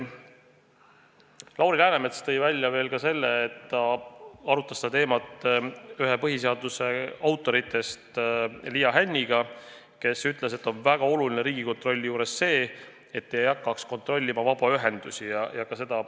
Lauri Läänemets tõi välja, et ta arutas seda teemat ühega põhiseaduse autoritest, Liia Hänniga, kes ütles, et Riigikontrolli puhul on väga oluline, et ei hakataks kontrollima vabaühendusi.